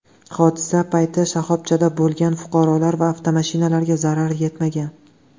Hodisa payti shoxobchada bo‘lgan fuqarolar va avtomashinalarga zarar yetmagan.